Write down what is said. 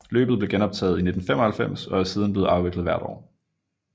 Løbet blev genoptaget i 1995 og er siden blevet afviklet hvert år